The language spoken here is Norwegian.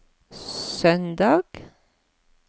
søndag